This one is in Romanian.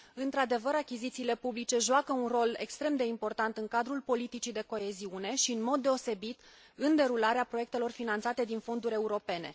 Într adevăr, achizițiile publice joacă un rol extrem de important în cadrul politicii de coeziune și, în mod deosebit, în derularea proiectelor finanțate din fonduri europene.